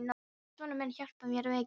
En sonur minn hjálpaði mér mikið.